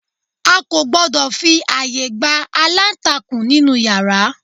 A kò gbọ́dọ̀ fi àyè gba alantakun nínú yàrá